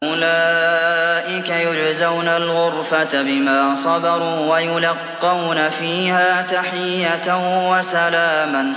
أُولَٰئِكَ يُجْزَوْنَ الْغُرْفَةَ بِمَا صَبَرُوا وَيُلَقَّوْنَ فِيهَا تَحِيَّةً وَسَلَامًا